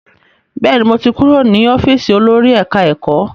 Bẹ́ẹ̀ni, mo ti kúrò ní ọ́fíìsì olórí ẹ̀ká-ẹ̀kọ́